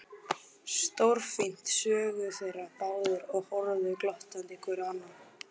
Stórfínt sögðu þeir báðir og horfðu glottandi hvor á annan.